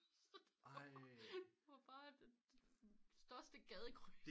Så den var bare det største gadekryds